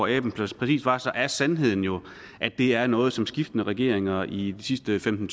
aben præcis var er sandheden jo at det er noget som skiftende regeringer de sidste femten